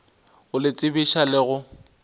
go le tsebiša le go